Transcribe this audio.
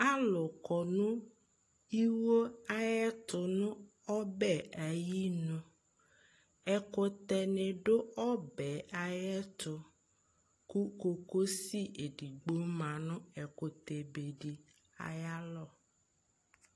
alò kɔ no iwo ayi ɛto n'ɔbɛ ayinu ɛkutɛ ni do ɔbɛ ayi ɛto kò kokosi edigbo ma no ɛkutɛ be di ayi alɔ